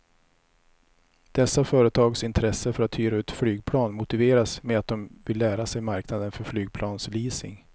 Dessa företags intresse för att hyra ut flygplan motiveras med att de vill lära sig marknaden för flygplansleasing.